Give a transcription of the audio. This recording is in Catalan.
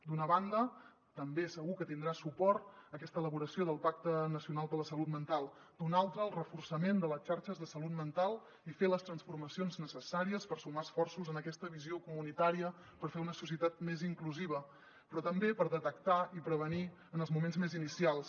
d’una banda també segur que tindrà suport aquesta elaboració del pacte nacional de la salut mental d’una altra el reforçament de les xarxes de salut mental i fer les transformacions necessàries per sumar esforços en aquesta visió comunitària per fer una societat més inclusiva però també per detectar i prevenir en els moments més inicials